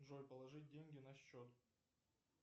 джой положить деньги на счет